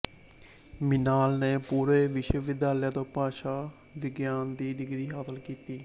ਮ੍ਰਿਣਾਲ ਨੇ ਪੂਨੇ ਵਿਸ਼ਵਵਿਦਿਆਲਿਆ ਤੋਂ ਭਾਸ਼ਾ ਵਿਗਿਆਨ ਦੀ ਡਿਗਰੀ ਹਾਸਲ ਕੀਤੀ